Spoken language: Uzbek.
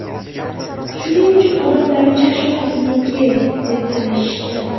Shuning uchun odamlar Chashma bizniki, deb talashishdi.